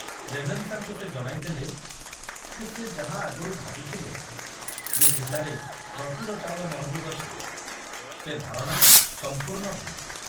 ରେଭେନ୍ସାଙ୍କୁ ସେ ଜଣାଇଦେଲେ ଯେ ସେ ଯାହା ଆଗରୁ ଭାବିଥିଲେ ଯେ ଜିଲ୍ଲାରେ ପ୍ରଚୁର ଚାଉଳ ମହଜୁଦ ଅଛି, ସେ ଧାରଣା ସମ୍ପୂର୍ଣ୍ଣ ଭୁଲ।